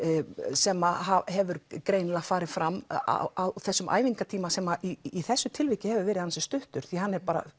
sem hefur greinilega farið fram á þessum æfingartíma sem í þessu tilviki hefur verið ansi stuttur því að hann er